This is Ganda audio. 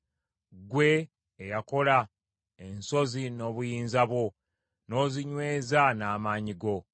ggwe, eyakola ensozi n’obuyinza bwo, n’ozinyweza n’amaanyi go,